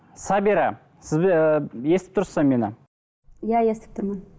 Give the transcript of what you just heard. сабира ыыы естіп тұрсыз ба мені иә естіп тұрмын